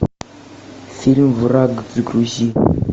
фильм враг загрузи